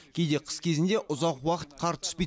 кейде қыс кезінде ұзақ уақыт қар түспейді